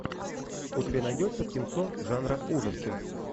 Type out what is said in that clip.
у тебя найдется кинцо жанра ужасы